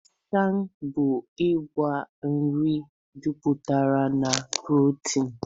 Ịsha bụ ngwa nri juputara na protini.